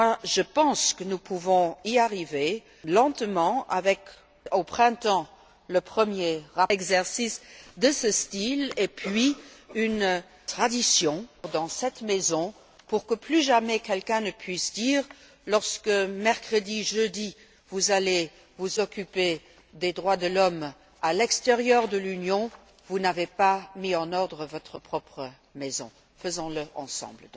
Je pense que nous pouvons y arriver progressivement avec, au printemps, le premier exercice de ce style, puis l'instauration d'une tradition dans cette maison pour que plus jamais quelqu'un ne puisse dire lorsque mercredi, jeudi, vous allez vous occuper des droits de l'homme à l'extérieur de l'Union Vous n'avez pas mis en ordre votre propre maison Faisons le ensemble!